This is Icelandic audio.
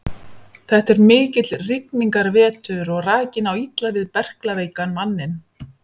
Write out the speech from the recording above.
Þetta er mikill rigningarvetur og rakinn á illa við berklaveikan manninn.